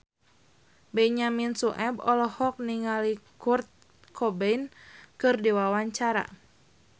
Benyamin Sueb olohok ningali Kurt Cobain keur diwawancara